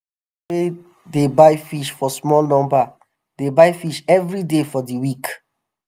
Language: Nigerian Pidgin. wey dey buy fish for small number dey buy fish evri day for di week.